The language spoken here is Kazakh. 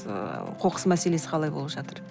ыыы қоқыс мәселесі қалай болып жатыр